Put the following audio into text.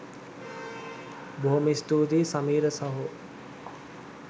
බොහොම ස්තූතියි සමීර සහෝ